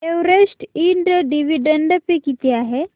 Everest Ind dividend pay किती आहे